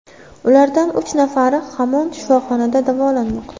Ulardan uch nafari hamon shifoxonada davolanmoqda.